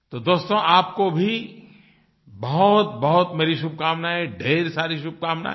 तो दोस्तो आपको भी बहुतबहुत शुभकामनायें ढेर सारी शुभकामनायें